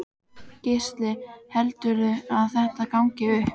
Gísli: Heldurðu að þetta gangi upp?